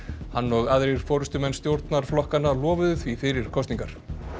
hann og aðrir forystumenn stjórnarflokkanna lofuðu því fyrir kosningar